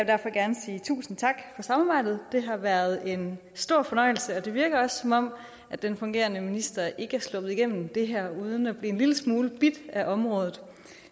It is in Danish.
derfor gerne sige tusind tak for samarbejdet det har været en stor fornøjelse og det virker også som om den fungerende minister ikke er sluppet igennem det her uden at blive en lille smule bidt af området